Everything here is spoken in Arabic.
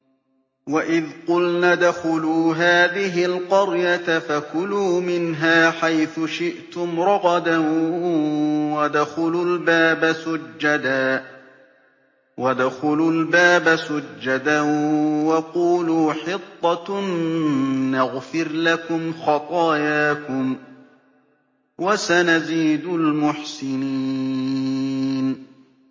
وَإِذْ قُلْنَا ادْخُلُوا هَٰذِهِ الْقَرْيَةَ فَكُلُوا مِنْهَا حَيْثُ شِئْتُمْ رَغَدًا وَادْخُلُوا الْبَابَ سُجَّدًا وَقُولُوا حِطَّةٌ نَّغْفِرْ لَكُمْ خَطَايَاكُمْ ۚ وَسَنَزِيدُ الْمُحْسِنِينَ